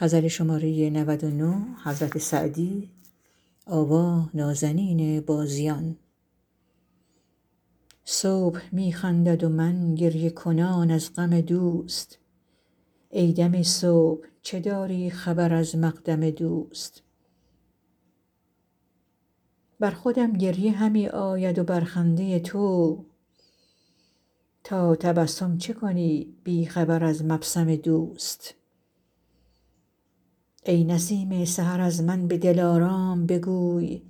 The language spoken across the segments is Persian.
صبح می خندد و من گریه کنان از غم دوست ای دم صبح چه داری خبر از مقدم دوست بر خودم گریه همی آید و بر خنده تو تا تبسم چه کنی بی خبر از مبسم دوست ای نسیم سحر از من به دلارام بگوی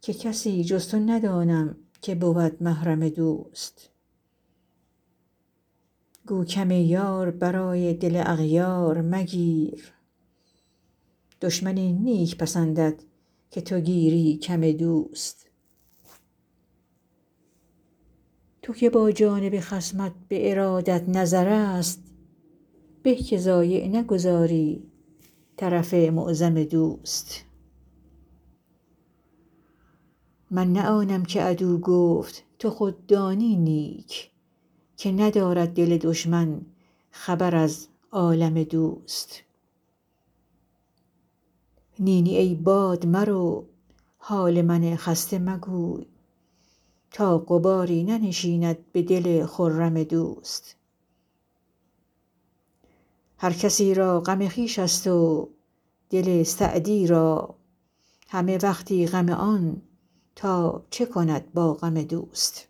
که کسی جز تو ندانم که بود محرم دوست گو کم یار برای دل اغیار مگیر دشمن این نیک پسندد که تو گیری کم دوست تو که با جانب خصمت به ارادت نظرست به که ضایع نگذاری طرف معظم دوست من نه آنم که عدو گفت تو خود دانی نیک که ندارد دل دشمن خبر از عالم دوست نی نی ای باد مرو حال من خسته مگوی تا غباری ننشیند به دل خرم دوست هر کسی را غم خویش ست و دل سعدی را همه وقتی غم آن تا چه کند با غم دوست